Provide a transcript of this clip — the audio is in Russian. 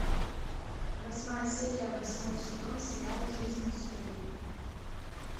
восьмая серия восьмой сезон сериал жизнь с луи